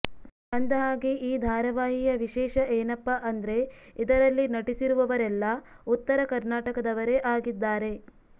ಅಂದಹಾಗೆ ಈ ಧಾರಾವಾಹಿಯ ವಿಶೇಷ ಏನಪ್ಪಾ ಅಂದ್ರೆ ಇದರಲ್ಲಿ ನಟಿಸಿರುವವರೆಲ್ಲಾ ಉತ್ತರ ಕರ್ನಾಟಕದವರೇ ಆಗಿದ್ದಾರೆ